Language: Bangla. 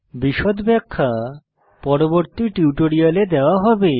বিশদ ব্যাখ্যা পরবর্তী টিউটোরিয়ালে দেওয়া হবে